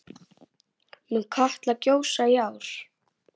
Mun Katla gjósa í ár?